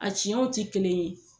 A ciyɛnw ti kelen ye.